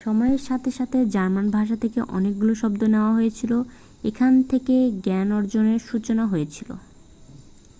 সময়ের সাথে সাথে জার্মান ভাষা থেকে অনেকগুলি শব্দ নেওয়া হয়েছিল এখান থেকে জ্ঞানার্জনের সূচনা হয়েছিল